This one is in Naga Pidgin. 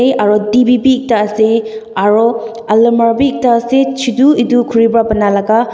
aro T_V be ekta ase aro alamara bi ase chutu edu khuri pa banalaka.